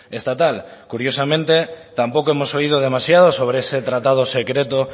estatal curiosamente tampoco hemos oído demasiado sobre ese tratado secreto